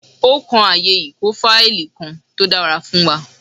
Ó kan ààyè ìkó fáìlì kan tó dára fún wa